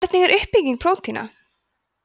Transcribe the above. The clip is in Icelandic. hvernig er uppbygging prótína